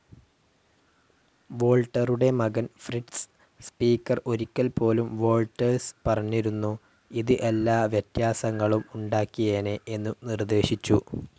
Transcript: വോൾട്ടറുടെ മകൻ Fritz, speaker ഒരിക്കൽപ്പോലും Walters പറഞ്ഞിരുന്നു, ഇത് എല്ലാ വ്യത്യാസങ്ങളും ഉണ്ടാക്കിയേനെ എന്നു നിർദ്ദേശിച്ചു.